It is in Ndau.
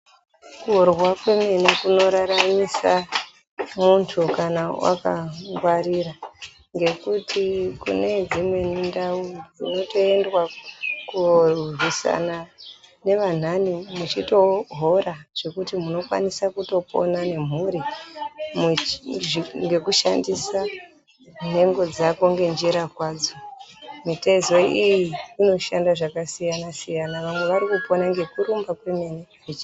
Kurwa kwemene kunoraramisa muntu kana akangwarira, ngekuti kune dzimweni ndau kunotoendwa koorwisana nevanhani muchitohora zvekuti munokwanisa kutopona nemhuri ngekushandisa nhengo dzako ngenjira kwadzo. Mitezo iyi inoshanda zvakasiyana-siyana, vamwe varikupona ngekurumba kwemene.